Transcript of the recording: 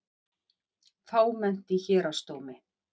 Fámennt í Héraðsdómi